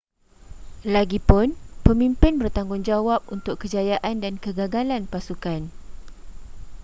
lagipun pemimpin bertanggungjawab untuk kejayaan dan kegagalan pasukan